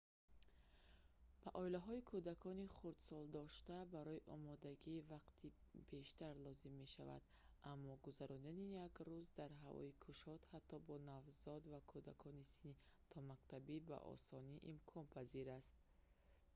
ба оилаҳои кӯдакони хурдсолдошта барои омодагӣ вақти бештар лозим мешавад аммо гузарондани як рӯз дар ҳавои кушод ҳатто бо навзодон ва кӯдакони синни томактабӣ ба осонӣ имконпазир аст